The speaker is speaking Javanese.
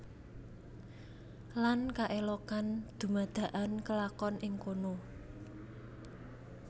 Lan kaelokan dumadakan kelakon ing kono